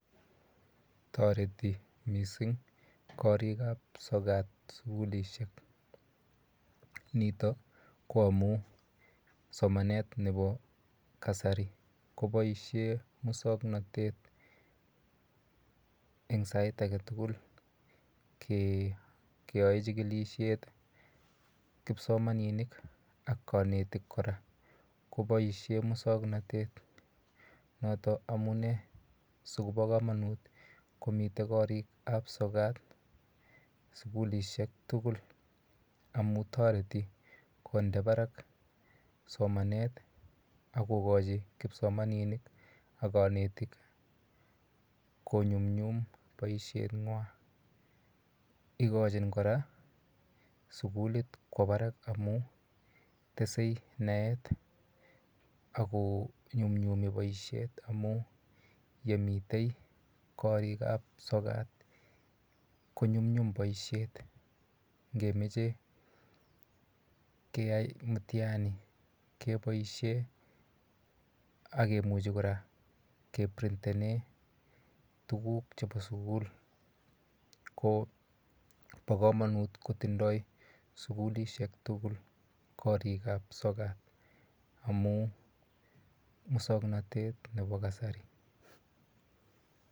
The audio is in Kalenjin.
Toreti mising korik ap sokat sukulishek nitok ko amu somanet nepo kasari koboisie musongnotet eng sait ake tukul keyoe chikilishet kipsomaninik ak konetik kora koboisie musongnotet noton amun sikopo komonut komitei korik ap sokat sukulishek tugul amu toreti konde barak somanet akokochi kipsomaninik ak konetik konyumnyum boisen ng'wan ikochin kora sukulit kwo barak amu tesei naet ako nyumnyumi boishet amun yemitei korik ap sokat konyumnyum boisiet ngemechei keyai mitiani keboishe akemuchi kora keprintene tukuk chebo sukul ko bo komonut kotindoi sukulishek tugul korik ap sokat amu musongnotet nebo kasari